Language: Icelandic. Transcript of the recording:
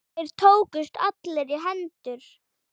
Þeir tókust allir í hendur.